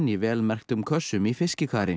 í vel merktum kössum í